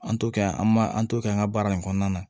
An t'o kɛ an b'a an t'o kɛ an ka baara in kɔnɔna na